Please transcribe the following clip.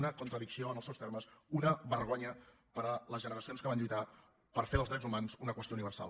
una contradicció en els seus termes una vergonya per a les generacions que van lluitar per fer dels drets humans una qüestió universal